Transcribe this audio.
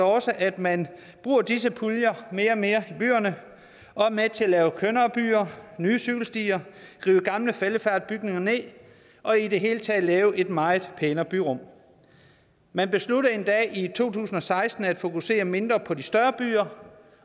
også at man bruger disse puljer mere og mere i byerne og er med til at lave kønnere byer nye cykelstier rive gamle faldefærdige bygninger ned og i det hele taget lave et meget pænere byrum man besluttede endda i to tusind og seksten at fokusere mindre på de større byer